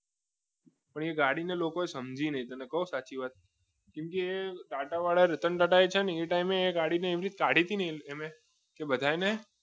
પણે ગાડીને લોકોને સમજીને તમને કહું એક સાચી વાત કેમ કે ટાંટાવાળા રતન ટાટા એ ટાઇમે એક ગાડીને ગાડી થઈને એમને તે બધાને